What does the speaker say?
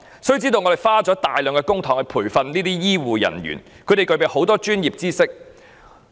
須知道，我們花了大量公帑培訓醫護人員，他們具備豐富專業知識。